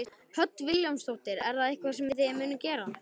Hödd Vilhjálmsdóttir: Er það eitthvað sem að þið munuð gera?